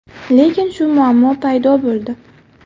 Lekin shu muammo paydo bo‘ldi.